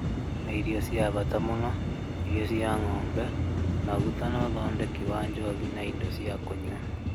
Nĩ irio cia bata mũno, irio cia ng'ombe, maguta na ũthondeki wa njohi na indo cia kũnyua